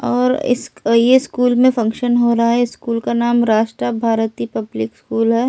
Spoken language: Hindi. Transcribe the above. और इस ये स्कूल में फंक्शन हो रहा है स्कूल का नाम राष्ट्र भारती पब्लिक स्कूल है।